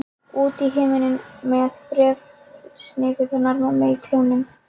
Út í himininn með bréfsnifsið hennar mömmu í klónum.